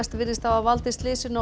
virðist hafa valdið slysinu á